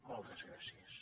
moltes gràcies